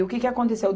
O que que aconteceu?